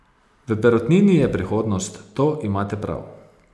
V perutnini je prihodnost, to imate prav.